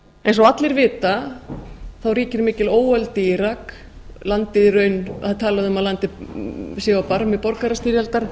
eins og allir vita ríkir mikil óöld í írak það er talið um að landið sé á barmi borgarastyrjaldar